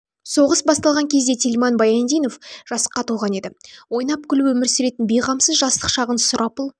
соғыс басталған кезде тельман баяндинов жасқа толған еді ойнап күліп өмір сүретін бейғамсыз жастық шағын сұрапыл